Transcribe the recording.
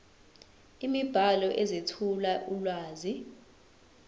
imibhalo ezethula ulwazi